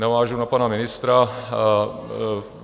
Navážu na pana ministra.